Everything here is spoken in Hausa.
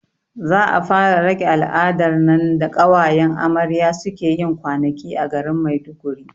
Za a fara rage al'adar nan da ƙawayen amarya suke yin kwanaki a garin maiduguri